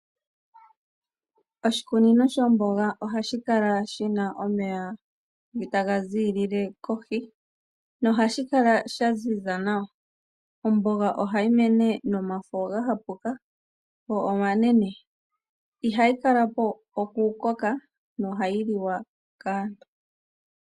Oshikunino shomboga ohashi kala shi na omeya taga ziilile kohi nohashi kala sha ziza nawa. Omboga mene nomafo ga hapuka go omanene. Ihayi kala po okukoka nohayi liwa kaantu.